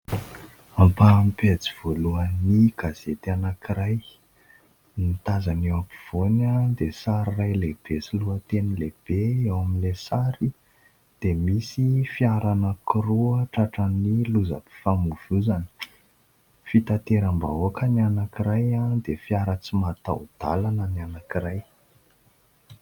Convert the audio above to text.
Ampaham-pejy voalohan'ny gazety anankiray, ny tazana eo ampovoany dia sary iray lehibe sy lohateny lehibe no eo amin'ilay sary dia misy fiara anankiroa tratran'ny lozam-pifamoivozana, fitateram-bahoaka ny anankiray dia fiara tsy mataho-dalana ny anankiray.